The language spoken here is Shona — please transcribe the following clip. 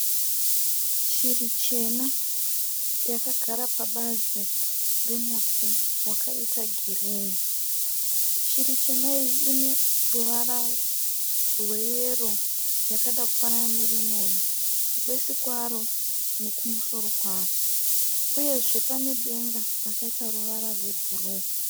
Shiri chena yagara pabazi remuti wakaita girinhi. Shiri chena iyi ine ruvara rweyero yakada kufanana neremoni kubesu kwaro nekumusoro kwaro uyezve pane denga rakaita ruvara rwebhuru.